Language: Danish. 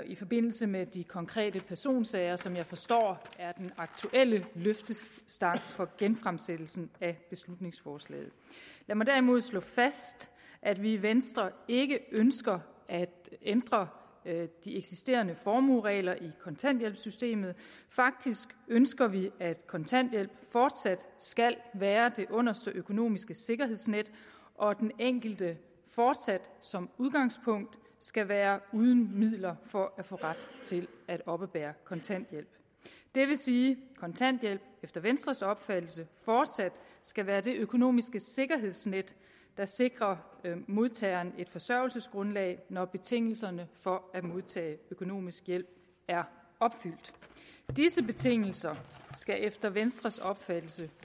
i forbindelse med de konkrete personsager som jeg forstår er den aktuelle løftestang for genfremsættelsen af beslutningsforslaget jeg må derimod slå fast at vi i venstre ikke ønsker at ændre de eksisterende formueregler i kontanthjælpssystemet faktisk ønsker vi at kontanthjælp fortsat skal være det underste økonomiske sikkerhedsnet og at den enkelte fortsat som udgangspunkt skal være uden midler for at få ret til at oppebære kontanthjælp det vil sige at kontanthjælp efter venstres opfattelse fortsat skal være det økonomiske sikkerhedsnet der sikrer modtageren et forsørgelsesgrundlag når betingelserne for at modtage økonomisk hjælp er opfyldt disse betingelser skal efter venstres opfattelse